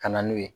Ka na n'u ye